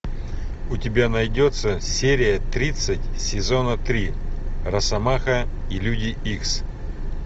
у тебя найдется серия тридцать сезона три росомаха и люди икс